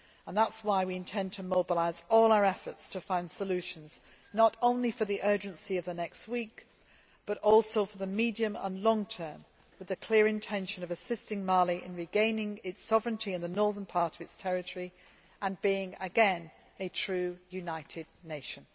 That is why we intend to mobilise all our efforts to find solutions, not only for the urgency of the next weeks, but also for the medium and long term, with the clear intention of assisting Mali in regaining its sovereignty in the northern part of its territory and being again a true united nation.